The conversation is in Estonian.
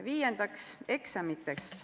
Viiendaks, eksamitest.